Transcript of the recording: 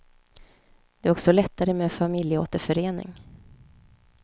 Det är också lättare med familjeåterförening.